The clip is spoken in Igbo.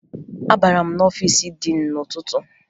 Abara m n'ọfiisi diin n'ụtụtụ